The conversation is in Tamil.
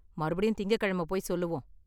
மறுபடியும் திங்கக்கிழமை போய் சொல்லுவோம்.